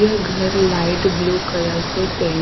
यह घर light blue colour से पें--